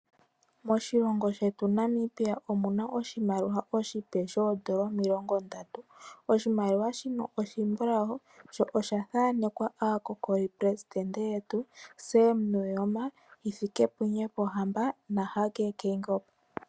Moshilongo shetu Namibia omu na oshimaliwa oshipe N$30. Oshimaliwa shino oshimbulau, sho osha thanekwa aaleli yetu aandohotola Sam Nuuyoma, Hifikepunye Pohamba naHage Geingob.